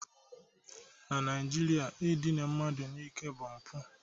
Na Naijiria, idina mmadụ n'ike bụ mpụ